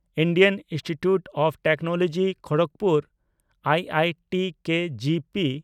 Indian institute of technology Kharagpur (I I T K G P)